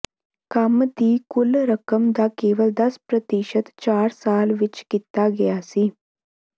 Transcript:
ਕੰਮ ਦੀ ਕੁੱਲ ਰਕਮ ਦਾ ਕੇਵਲ ਦਸ ਪ੍ਰਤੀਸ਼ਤ ਚਾਰ ਸਾਲ ਵਿਚ ਕੀਤਾ ਗਿਆ ਸੀ